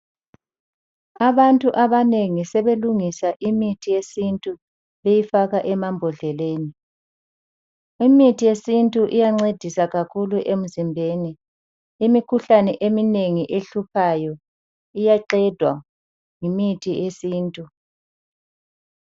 Abantu abanengi sebelungisa imithi yesintu beyifaka emambodleleni. Imithi yesintu iyancedisa kakhulu emizimbeni. Imikhuhlane eminengi ehluphayo iyaqedwa yimithi yesintu.